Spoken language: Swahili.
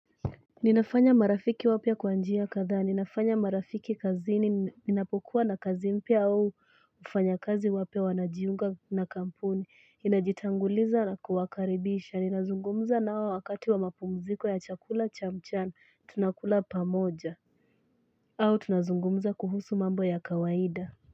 Ninafanya marafiki wapya kwa njia kadhaa, ninafanya marafiki kazini, ninapokuwa na kazi mpya au wafanyakazi wapya wanajiunga na kampuni, inajitanguliza na kuwakaribisha, ninazungumza nao wakati wa mapumziko ya chakula cha mchana tunakula pamoja, au tunazungumza kuhusu mambo ya kawaida.